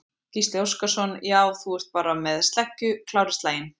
Gísli Óskarsson: Já, þú ert bara með sleggju, klár í slaginn?